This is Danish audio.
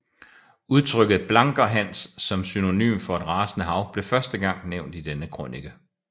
Udtrykket Blanker Hans som synonym for et rasende hav blev første gang nævnt i denne krønike